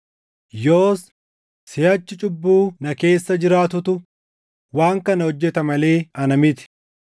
Yoos, siʼachi cubbuu na keessa jiraatutu waan kana hojjeta malee ana miti.